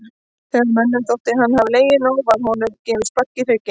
Þegar mönnum þótti hann hafa legið nóg var honum gefið spark í hrygginn.